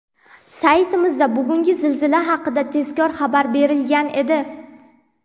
Saytimizda bugungi zilzila haqida tezkor xabar berilgan edi.